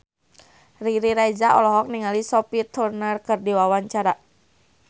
Riri Reza olohok ningali Sophie Turner keur diwawancara